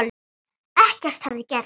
Ekkert hefði gerst.